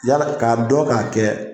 Yala k'a dɔ k'a kɛ